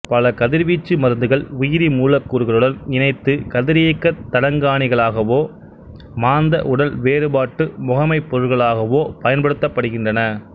பல கதிவீச்சு மருந்துகள் உயிரி மூலக்கூறுகளுடன் இணைத்து கதிரியக்கத் தடங்காணிகளகவோ மாந்த உடல் வேறுபாட்டு முகமைப்பொருள்கலாகவோ பய்ன்படுத்தப்படுகின்றன